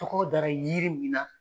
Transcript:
Tɔgɔ dara yiri min na.